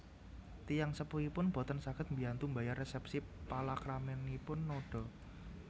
Tiyang sepuhipun boten saged mbiyantu mbayar resépsi palakraminipun Noda